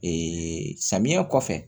samiyɛ kɔfɛ